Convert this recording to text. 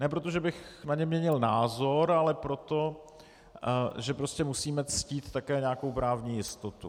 Ne proto, že bych na ně měnil názor, ale proto, že prostě musíme ctít také nějakou právní jistotu.